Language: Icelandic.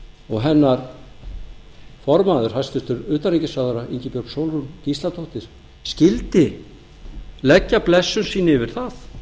og hennar formaður hæstvirts utanríkisráðherra ingibjörg sólrún gísladóttir skyldi leggja blessun sína yfir það